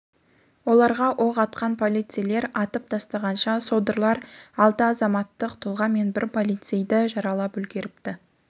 оларға оқ атқан полицейлер атып тастағанша содырлар алты азаматтық тұлға мен бір полицейді жаралап үлгеріпті